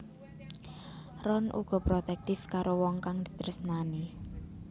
Ron uga protektif karo wong kang ditresnani